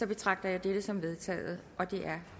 betragter jeg dette som vedtaget